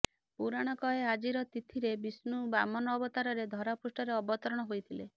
ପୁରାଣ କହେ ଆଜିର ତିଥୀରେ ବିଷ୍ଣୁ ବାମନ ଅବତାରରେ ଧରାପୃଷ୍ଠରେ ଅବତରଣ ହୋଇଥିଲେ